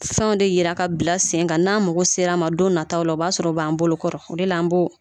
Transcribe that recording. Fen de jira ka bila sen kan n'an mago sera a ma don nataw la, o b'a sɔrɔ a b'an bolokɔrɔ o de la an bɔ